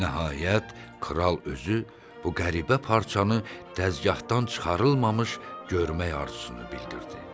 Nəhayət, kral özü bu qəribə parçanı dəzgahaadan çıxarılmamış görmək arzusunu bildirdi.